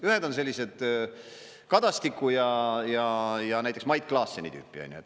Ühed on sellised Kadastiku ja näiteks Mait Klaasseni tüüpi.